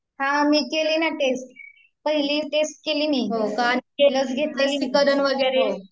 हा मी केली ना टेस्ट, पहिली टेस्ट केली मी